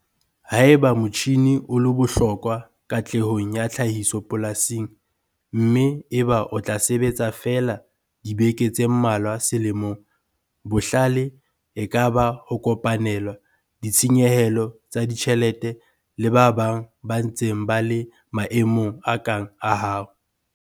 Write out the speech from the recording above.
Haeba motjhine o le bohlokwa katlehong ya tlhahiso polasing, mme eba o tla sebetsa feela dibeke tse mmalwa selemong, bohlale e ka ba ho kopanela ditshenyehelo tsa ditjhelete le ba bang ba ntseng ba le maemong a kang a hao.